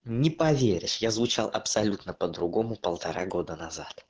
не поверишь я звучал абсолютно по-другому полтора года назад